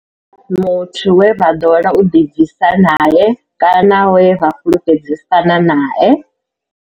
Hu nga ḓi vha muthu we vha ḓowela u ḓibvisa nae kana we vha fhulufhedzisana nae.